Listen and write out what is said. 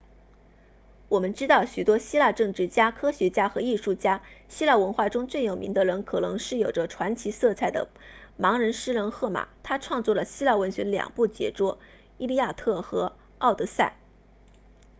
我们知道许多希腊政治家科学家和艺术家希腊文化中最有名的人可能是有着传奇色彩的盲人诗人荷马他创作了希腊文学的两部杰作伊利亚特和奥德赛